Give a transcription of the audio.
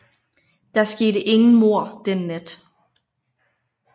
Der skete ingen mord den nat